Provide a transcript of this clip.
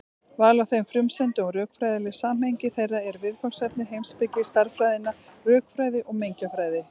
Val á þeim frumsendum og rökfræðilegt samhengi þeirra eru viðfangsefni heimspeki stærðfræðinnar, rökfræði og mengjafræði.